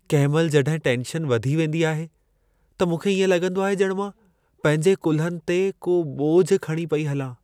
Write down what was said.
कंहिं महिल जॾहिं टेन्शन वधी वेंदी आहे, त मूंखे इएं लॻंदो आहे ॼणु मां पंहिंजे कुल्हनि ते को ॿोझ खणी पई हलां।